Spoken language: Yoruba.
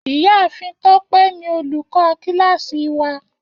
Iyaafin Tope ni olukọ kilasi wa.